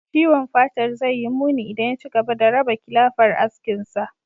Ciwon fatar zai yi muni idan ya ci gaba da raba kilafar askinsa.